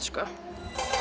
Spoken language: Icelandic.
sko